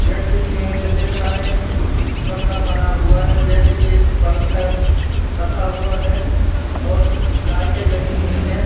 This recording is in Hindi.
जैसे कि मुझे दिख रा है एक कमरा बना हुआ है जैसे कि एक पंखा रखा हुआ है और कुछ लाइटे लगी हुई है।